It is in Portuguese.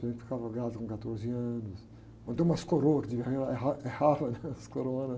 Por exemplo, ficava grávida com quatorze anos, mas tem umas coroa que, é, é raro, né? As.